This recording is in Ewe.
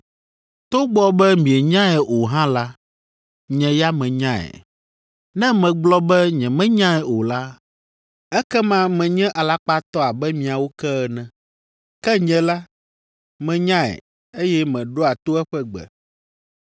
Togbɔ be mienyae o hã la, nye ya menyae. Ne megblɔ be nyemenyae o la, ekema menye alakpatɔ abe miawo ke ene. Ke nye la, menyae, eye meɖoa to eƒe gbe.